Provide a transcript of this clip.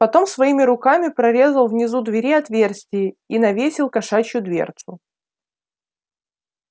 потом своими руками прорезал внизу двери отверстие и навесил кошачью дверцу